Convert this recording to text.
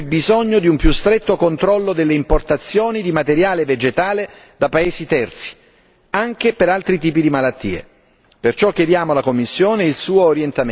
Il vero vulnus su cui dobbiamo riflettere è proprio il bisogno di un più stretto controllo delle importazioni di materiale vegetale da paesi terzi, anche per altri tipi di malattie.